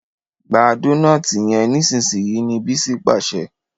gbà Dónáátì yén nísìsiyìí! ní Bisi pàṣẹ.